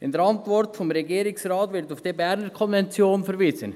In der Regierungsratsantwort wird auf die Berner Konvention verwiesen.